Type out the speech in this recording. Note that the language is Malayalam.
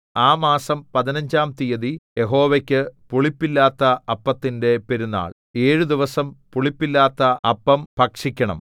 ആ മാസം പതിനഞ്ചാം തീയതി യഹോവയ്ക്കു പുളിപ്പില്ലാത്ത അപ്പത്തിന്റെ പെരുന്നാൾ ഏഴു ദിവസം പുളിപ്പില്ലാത്ത അപ്പം ഭക്ഷിക്കണം